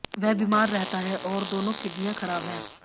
वह बीमार रहता है और दोनों किडनियां खराब है